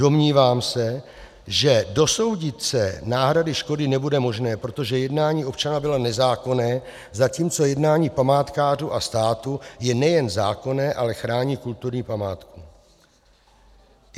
Domnívám se, že dosoudit se náhrady škody nebude možné, protože jednání občana bylo nezákonné, zatímco jednání památkářů a státu je nejen zákonné, ale chrání kulturní památku.